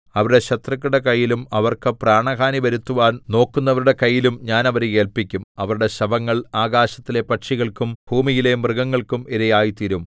അവരുടെ ശത്രുക്കളുടെ കൈയിലും അവർക്ക് പ്രാണഹാനി വരുത്തുവാൻ നോക്കുന്നവരുടെ കൈയിലും ഞാൻ അവരെ ഏല്പിക്കും അവരുടെ ശവങ്ങൾ ആകാശത്തിലെ പക്ഷികൾക്കും ഭൂമിയിലെ മൃഗങ്ങൾക്കും ഇരയായിത്തീരും